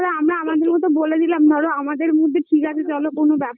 তো আমরা আমাদের মতন বলে দিলাম ধরো আমাদের মধ্যে ঠিক আছে চলো কোনো ব্যাপার